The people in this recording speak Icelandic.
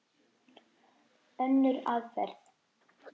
Önnur aðferð